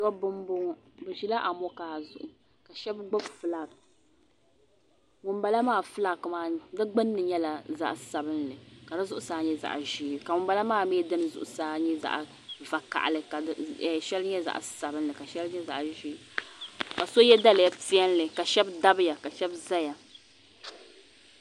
Dobba m boŋɔ bɛ ʒila amokaa zuɣu shɛba gbibi filaaki ŋunbala maa filaaki maa di gbini nyɛla zaɣa sabinli ka di zuɣusaa nyɛ zaɣa ʒee ka ŋumbala maa mi dini zuɣusaa nyɛ zaɣa vakahali ka shɛli nyɛ zaɣa sabinli ka shɛli nyɛ zaɣa ʒee ka so ye daliya piɛlli ka shɛba dabya ka shɛba zaya.